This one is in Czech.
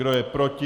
Kdo je proti?